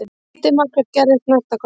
Lítið markvert gerðist næsta korterið.